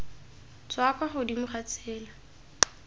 tswa kwa godimo ga tsela